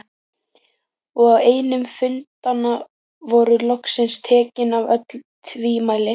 Og á einum fundanna voru loksins tekin af öll tvímæli.